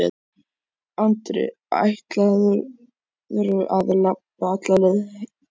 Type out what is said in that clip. Andri: Ætlarðu að labba alla leið?